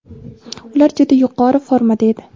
ular juda yuqori formada edi.